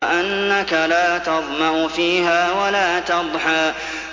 وَأَنَّكَ لَا تَظْمَأُ فِيهَا وَلَا تَضْحَىٰ